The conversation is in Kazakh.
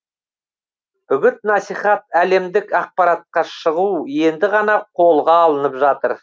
үгіт насихат әлемдік ақпаратқа шығу енді ғана қолға алынып жатыр